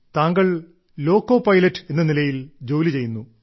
താങ്കൾ loco pilot എന്ന നിലയിൽ ജോലി ചെയ്യുന്നു